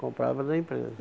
Comprava da empresa.